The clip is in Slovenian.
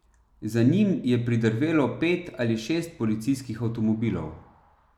Za njim je pridrvelo pet ali šest policijskih avtomobilov.